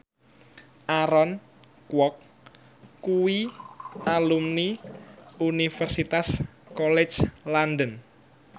Aaron Kwok kuwi alumni Universitas College London